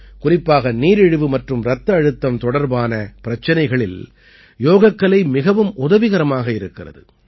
குறிப்பாக நீரிழிவு மற்றும் இரத்த அழுத்தம் தொடர்பான பிரச்சனைகளில் யோகக்கலை மிகவும் உதவிகரமாக இருக்கிறது